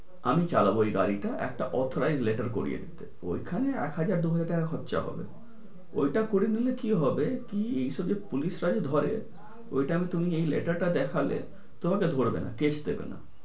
আমি চালাবো ওই গাড়িটা একটা letter করিয়ে দেবে ওইখানে এক হাজার দুই হাজার টাকা খরচা হবে ওইটা করে নিলে কি হবে কি আসলে পুলিশরা যে ধরে ওই time এ তুমি letter টা দেখাবে তোমাকে ধরবে না। ঠিক আছে?